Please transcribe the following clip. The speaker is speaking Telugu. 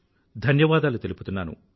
ధన్యవాదాలు తెలుపుతున్నాను